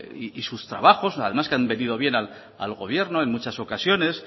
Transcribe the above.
y sus trabajos además que han venido bien al gobierno en muchas ocasiones